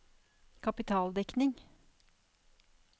kapitaldekning